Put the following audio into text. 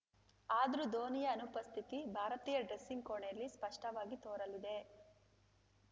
ಆದ್ರೂ ಧೋನಿಯ ಅನುಪಸ್ಥಿತಿ ಭಾರತೀಯ ಡ್ರೆಸ್ಸಿಂಗ್‌ ಕೋಣೆಯಲ್ಲಿ ಸ್ಪಷ್ಟವಾಗಿ ತೋರಲಿದೆ